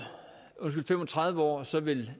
tredive år vil